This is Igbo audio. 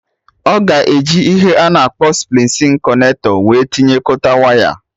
Ọ ga eji ihe a na-akpọ splicing connector wee tinyekọta waya